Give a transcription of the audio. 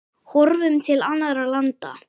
Horfum til annarra landa.